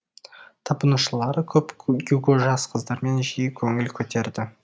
табынушылары көп гюго жас қыздармен жиі көңіл көтерді